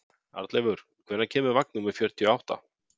Arnleifur, hvenær kemur vagn númer fjörutíu og átta?